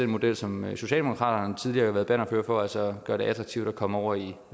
model som socialdemokratiet tidligere har været bannerfører for altså hvor gør det attraktivt at komme over i